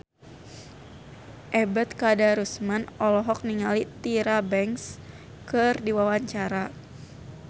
Ebet Kadarusman olohok ningali Tyra Banks keur diwawancara